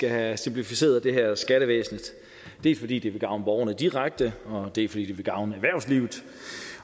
have simplificeret det her skattevæsen dels fordi det vil gavne borgerne direkte dels fordi det vil gavne erhvervslivet